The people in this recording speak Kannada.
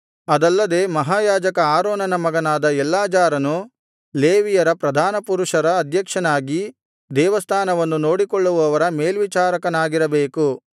ಅದಲ್ಲದೆ ಮಹಾಯಾಜಕ ಆರೋನನ ಮಗನಾದ ಎಲ್ಲಾಜಾರನು ಲೇವಿಯರ ಪ್ರಧಾನಪುರುಷರ ಅಧ್ಯಕ್ಷನಾಗಿ ದೇವಸ್ಥಾನವನ್ನು ನೋಡಿಕೊಳ್ಳುವವರ ಮೇಲ್ವಿಚಾರಕನಾಗಿರಬೇಕು